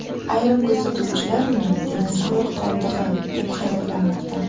Ayrim kuzatuvchilar uni dinozavr qoldig‘i deb hayratlanmoqda.